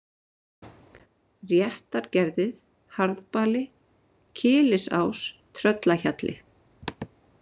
Réttargerðið, Harðbali, Kyllisás, Tröllahjalli